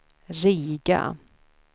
Riga